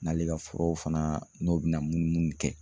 N'ale ka furaw fana n'o bɛna mun mun kɛ